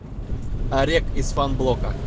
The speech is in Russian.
орек из фанблока